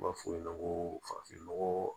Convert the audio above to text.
U b'a fɔ o ɲɛna ko farafin nɔgɔ